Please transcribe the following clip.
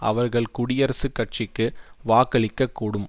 அவர்கள் குடியரசுக் கட்சிக்கு வாக்களிக்க கூடும்